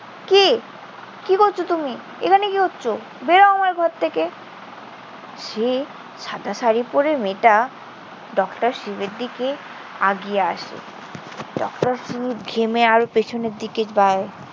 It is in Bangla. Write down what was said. কি? কি করছ তুমি? এখানে কি করছ? বের হও আমার ঘর থেকে। সে সাদা শাড়ি পড়ে মেয়েটা ডক্টর শিবের দিকে আগিয়ে আসে। ডক্টর শিব ঘেমে আরো পেছনের দিকে যায়।